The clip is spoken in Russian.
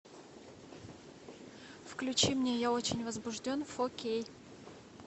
включи мне я очень возбужден фо кей